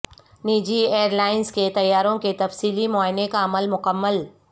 نجی airlines کے طیاروں کے تفصیلی معائنے کا عمل مکمل